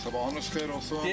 Sabahınız xeyir olsun.